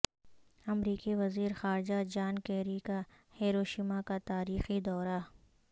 امریکی وزیر خارجہ جان کیری کا ہیروشیما کا تاریخی دورہ